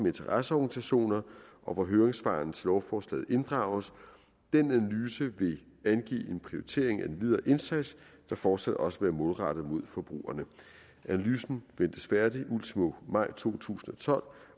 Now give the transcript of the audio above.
interesseorganisationer hvor høringssvarene til lovforslaget inddrages den analyse vil angive en prioritering af den videre indsats der fortsat også vil være målrettet mod forbrugerne analysen ventes færdig ultimo maj to tusind og tolv